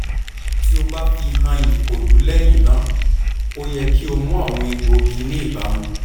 ti o ba fihan ikolu lẹhinna o yẹ ki o mu awọn egboogi ni ibamu